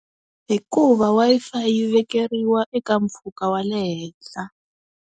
Hikuva Wi-Fi yi vekeriwa eka mpfhuka wa le henhla.